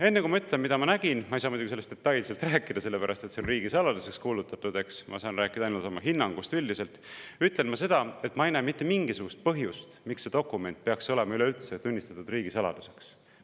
Enne, kui ma ütlen, mida ma nägin – ma ei saa sellest muidugi detailselt rääkida, sest see on riigisaladuseks kuulutatud, ma saan rääkida ainult oma hinnangust üldiselt –, ütlen ma seda, et ma ei näe mitte mingisugust põhjust, miks see dokument peaks olema üleüldse tunnistatud riigisaladuseks.